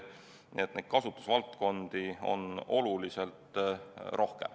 Nii et neid kasutusvaldkondi on oluliselt rohkem.